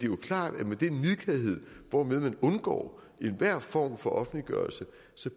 jo klart at den nidkærhed hvormed man undgår enhver form for offentliggørelse